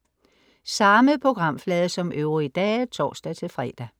Samme programflade som øvrige dage (tors-fre)